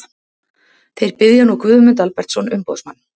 Þeir biðja nú Guðmund Albertsson umboðsmann